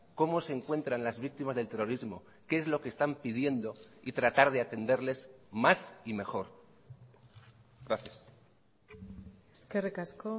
cómo se encuentran las víctimas del terrorismo qué es lo que están pidiendo y tratar de atenderles más y mejor gracias eskerrik asko